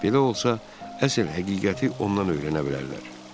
Belə olsa, əsl həqiqəti ondan öyrənə bilərlər.